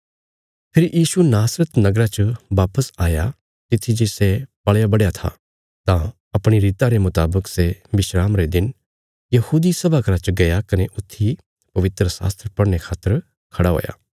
फेरी यीशु नासरत नगरा च वापस आया तित्थी जे सै पल़याबढ़या था तां अपणी रीता रे मुतावक सै विस्रामा रे दिन यहूदी सभा घरा च गया कने ऊथी पवित्रशास्त्र पढ़ने खातर खड़ा हुआ